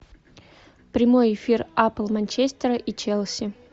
прямой эфир апл манчестера и челси